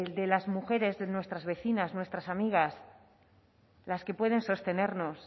de las mujeres nuestras vecinas nuestras amigas las que pueden sostenernos